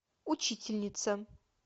учительница